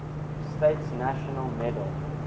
states national medal